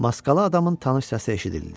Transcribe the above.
Maskalı adamın tanış səsi eşidildi.